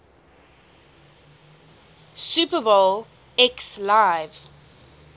super bowl xliv